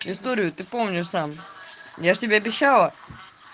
историю ты помнишь сам я же тебе обещала